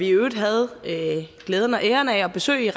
i øvrigt havde glæden og æren af at besøge